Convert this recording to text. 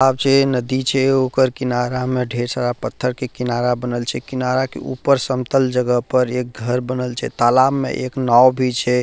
आव जे नदी छै ओकर किनारा में ढेर सारा पत्थर के किनारा बनल छै किनारा के ऊपर समतल जगह पर एक घर बनल छै तालाब में एक नाव भी छै।